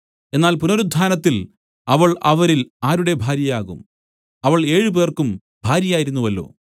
എന്നാൽ പുനരുത്ഥാനത്തിൽ അവൾ അവരിൽ ആരുടെ ഭാര്യയാകും അവൾ ഏഴ് പേർക്കും ഭാര്യയായിരുന്നുവല്ലോ